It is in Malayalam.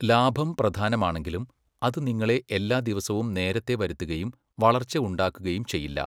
ലാഭം പ്രധാനമാണെങ്കിലും, അത് നിങ്ങളെ എല്ലാ ദിവസവും നേരത്തെ വരുത്തുകയും വളർച്ച ഉണ്ടാക്കുകയും ചെയ്യില്ല.